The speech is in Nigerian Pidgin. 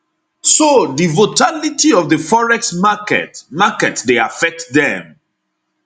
so di votality of di forex market market dey affect dem